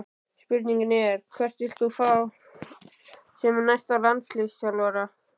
Spurningin er: Hvern vilt þú fá sem næsta landsliðsþjálfara?